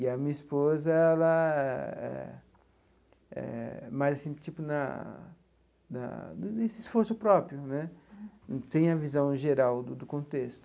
E a minha esposa, ela é é mais, assim tipo, na na nesse esforço próprio né, não tem a visão geral do contexto.